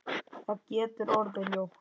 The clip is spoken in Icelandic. Það getur orðið ljótt.